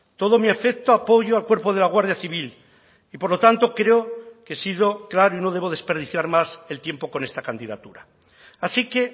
todo mi afecto apoyo al cuerpo de la guardia civil y por lo tanto creo que he sido claro y no debo desperdiciar más el tiempo con esta candidatura así que